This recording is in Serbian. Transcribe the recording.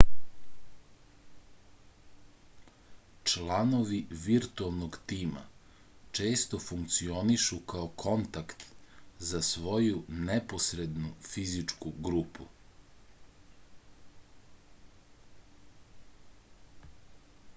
članovi virtuelnog tima često funkcionišu kao kontakt za svoju neposrednu fizičku grupu